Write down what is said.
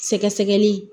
Sɛgɛsɛgɛli